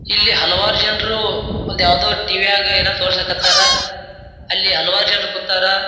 ಇಲ್ಲಿ ಹಲವಾರು ಜನ್ರು ಒಂದ್ ಯಾವದೋ ಟೀವ್ಯಾಗ್ ಏನೋ ತೋರ್ಸಕ್ಕತ್ತರ್ ಅಲ್ಲಿ ಹಲವಾರು ಜನ ಕುಂತರ್.